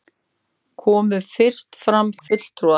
Komu fyrst fram fulltrúar